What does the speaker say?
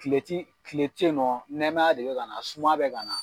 Tile ti tile tɛ yen nɔ nɛɛmaya de bɛ ka na suma bɛ ka na